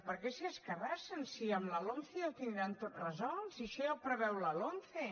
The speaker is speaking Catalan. per què s’hi escarrassen si amb la lomce ja ho tindran tot resolt si això ja ho preveu la lomce